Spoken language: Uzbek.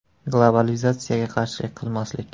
Globalizatsiyaga qarshilik qilmaslik.